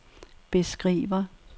beskriver